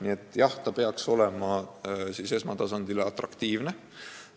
See kõik peaks perearstide silmis atraktiivne olema.